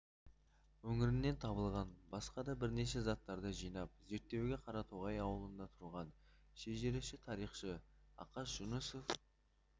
өңірінен табылған басқа да бірнеше заттарды жинап зерттеуге қаратоғай ауылында тұрған шежіреші тарихшы ақаш жүнісов